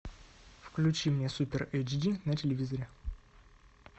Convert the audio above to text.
включи мне супер эйч ди на телевизоре